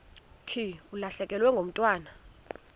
thi ulahlekelwe ngumntwana